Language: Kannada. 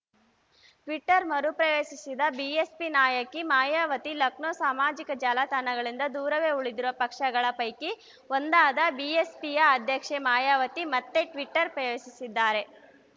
ಟ್ವಿಟರ್‌ ಮರು ಪ್ರವೇಶಿಸಿದ ಬಿಎಸ್ಪಿ ನಾಯಕಿ ಮಾಯಾವತಿ ಲಕ್ನೋ ಸಾಮಾಜಿಕ ಜಾಲತಾಣಗಳಿಂದ ದೂರವೇ ಉಳಿದಿರುವ ಪಕ್ಷಗಳ ಪೈಕಿ ಒಂದಾದ ಬಿಎಸ್‌ಪಿಯ ಅಧ್ಯಕ್ಷೆ ಮಾಯಾವತಿ ಮತ್ತೆ ಟ್ವಿಟರ್‌ ಪ್ರವೇಶಿಸಿದ್ದಾರೆ